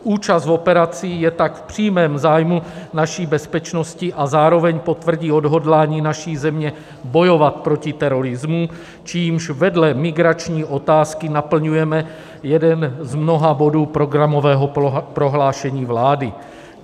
Účast v operaci je tak v přímém zájmu naší bezpečnosti a zároveň potvrdí odhodlání naší země bojovat proti terorismu, čímž vedle migrační otázky naplňujeme jeden z mnoha bodů programového prohlášení vlády.